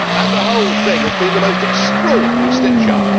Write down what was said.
The whole thing has been the most extraordinary stitch up.